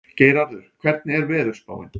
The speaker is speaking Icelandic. Geirarður, hvernig er veðurspáin?